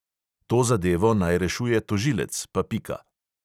To zadevo naj rešuje tožilec, pa pika.